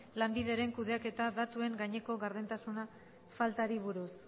lanbideren kudeaketa datuen gaineko gardentasun faltari buruz